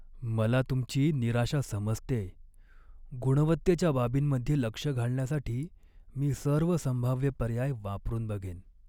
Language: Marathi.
मला तुमची निराशा समजतेय, गुणवत्तेच्या बाबींमध्ये लक्ष घालण्यासाठी मी सर्व संभाव्य पर्याय वापरून बघेन.